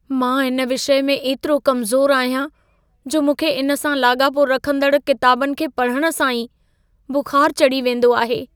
मां इन विषय में एतिरो कमज़ोरु आहियां, जो मूंखे इन सां लाॻापो रखंदड़ किताबनि खे पढण सां ई बुख़ार चढ़ी वेंदो आहे।